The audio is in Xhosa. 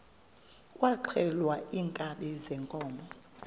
kwaxhelwa iinkabi zeenkomo